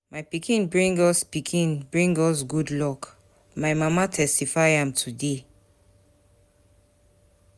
My pikin bring us pikin bring us good luck, my mama testify am today.